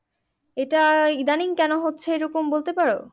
এটা ইদানিং কেন হচ্ছে এরকম বলতে পারো?